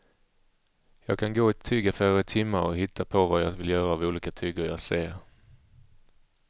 Jag kan gå i tygaffärer i timmar och hitta på vad jag vill göra av olika tyger jag ser.